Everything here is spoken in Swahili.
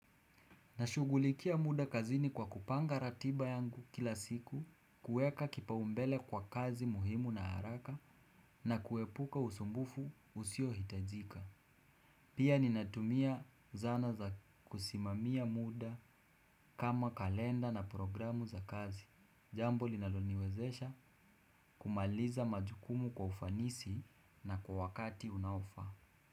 Nashugulikia muda kazini kwa kupanga ratiba yangu kila siku, kuweka kipaumbele kwa kazi muhimu na haraka na kuepuka usumbufu usio hitajika. Pia ninatumia zana za kusimamia muda kama kalenda na programu za kazi. Jambo linaloniwezesha kumaliza majukumu kwa ufanisi na kwa wakati unaofaa.